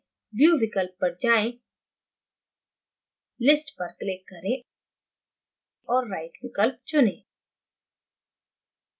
view विकल्प पर जायें list पर click करें और right विकल्प चुनें